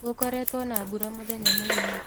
Gũkoretwo na mbura mũthenya mũgima